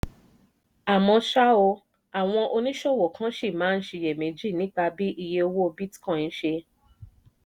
àmọ́ ṣá o àwọn oníṣòwò kan ṣì máa ń ṣiyèméjì nípa bí iye owó bitcoin ṣe